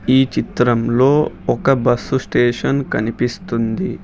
ఈ చిత్రంలో ఒక బస్సు స్టేషన్ కనిపిస్తుంది.